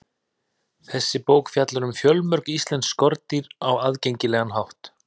Þessi bók fjallar um fjölmörg íslensk skordýr á aðgengilegan hátt.